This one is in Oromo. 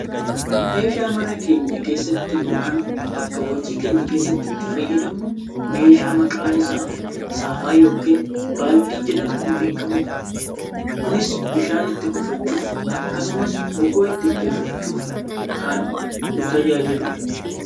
meeshaa mana keenya keessatti yookaan bakka hojii keenyaa keessatti itti fayyadamnu meeshaa maqaan isaa saafaa yookaan baaldii jedhamuun beekkamudha. kunis bishaan itti kuufachuuf akkasumas bukoo itti bukeeffachuuf kan nu tajaajiludha.